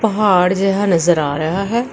ਪਹਾੜ ਜਿਹਾ ਨਜ਼ਰ ਆ ਰਿਹਾ ਹੈ।